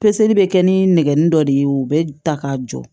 Peseli bɛ kɛ ni nɛgɛnni dɔ de ye u bɛ ta k'a jɔ